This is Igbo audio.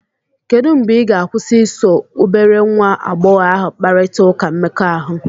Kedụ mgbe ị ga-akwụsị iso obere nwa agbọghọ ahụ kparịta ụka mmekọahụ?